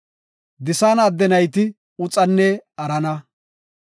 Disaana adde nayti Uxanne Arana.